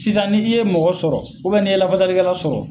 Sisan ni i ye mɔgɔ sɔrɔ, n'i ye lafasalikɛla sɔrɔ